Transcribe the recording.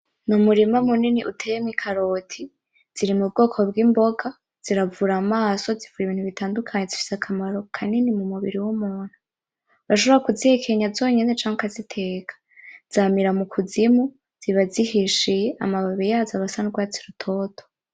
Umurima uteyemwo ikaroti ziri mu bwoko bw’imboga ziravura amaso, ziravura ibintu bitandukanye zifise akamaro kanini mu mubiri w’umuntu. Urashobora kuzihekenya zonyene canke ukaziteka. Zamira mukuzimu, ziba zihishiye amababi aba asa n’urwatsi rutoto.